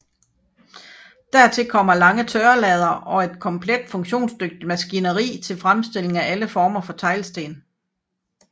Dertil kommer lange tørrelader og et komplet funktionsdygtigt maskineri til fremstilling af alle former for teglsten